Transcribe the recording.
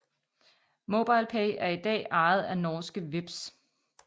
MobilePay er i dag ejet af norske Vipps